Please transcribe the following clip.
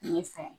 Ne ye fɛn